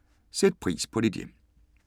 03:00: Sæt pris på dit hjem